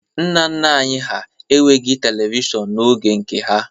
Nna nna anyị hà enweghi Televishọn n'oge nke ha.